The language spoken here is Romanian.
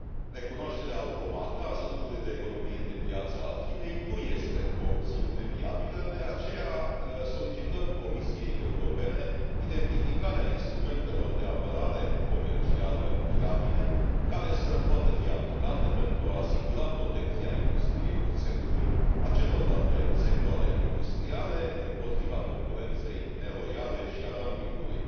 Recunoașterea automată a statutului de economie de piață al Chinei nu este o opțiune viabilă, de aceea solicităm Comisiei Europene identificarea instrumentelor de apărare comercială viabile, care să poată fi aplicate pentru a asigura protecția industriei oțelului, a celorlalte sectoare industriale împotriva concurenței neloiale și a dumpingului.